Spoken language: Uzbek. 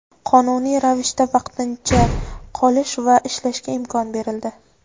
qonuniy ravishda vaqtincha qolish va ishlashga imkon berildi.